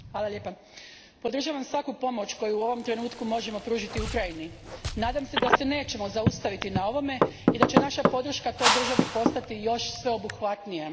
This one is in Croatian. Gospodine predsjedniče, podržavam svaku pomoć koju u ovom trenutku možemo pružiti Ukrajini. Nadam se da se nećemo zaustaviti na ovome i da će naša podrška toj državi postati još sveobuhvatnija.